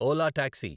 Ola taxi